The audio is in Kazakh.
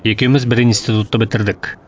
екеуіміз бір институтты бітірдік